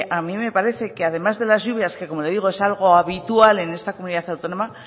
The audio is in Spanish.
a mí me parece que además de las lluvias que como lo digo es algo habitual en esta comunidad autónoma